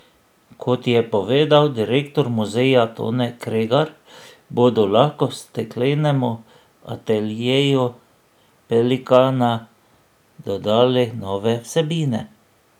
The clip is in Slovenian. Kot je povedal direktor muzeja Tone Kregar, bodo lahko steklenemu ateljeju Pelikana dodali nove vsebine.